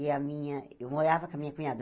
E a minha eu morava com a minha cunhada.